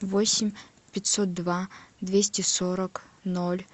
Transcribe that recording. восемь пятьсот два двести сорок ноль